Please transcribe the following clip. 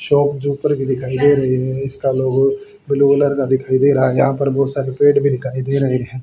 Shop जो ऊपर की दिखाई दे रही हैं इसका लोगों ब्ल्यू कलर का दिखाई दे रहा है यहां पर बहुत सारे पेड़ भी दिखाई दे रहे हैं।